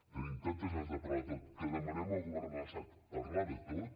tenim tantes ganes de parlar de tot que demanem al govern de l’estat parlar de tot